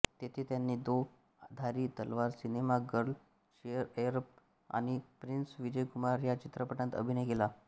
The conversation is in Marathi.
तेथे त्यांनी दो धारी तलवार सिनेमा गर्ल शेरएअरब आणि प्रिन्स विजयकुमार ह्या चित्रपटांत अभिनय केला